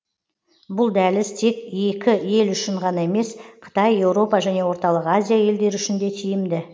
бұл дәліз тек екі ел үшін ғана емес қытай еуропа және орталық азия елдері үшін де тиімді